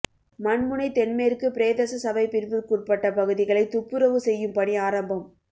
மண்முனை தென்மேற்கு பிரதேசசபை பிரிவிற்குட்பட்ட பகுதிகளை துப்புறவு செய்யும் பணி ஆரம்பம்